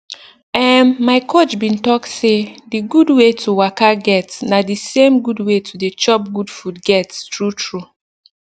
erm my coach bin talk say d gud wey to waka get na d same gud wey to dey chop gud food get true true